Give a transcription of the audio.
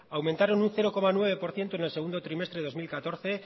aumentaron un cero coma nueve por ciento en el segundo trimestre dos mil catorce